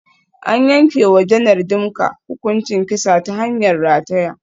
An yanke wa Janar Dimka hukuncin kisa ta hanyar rataya.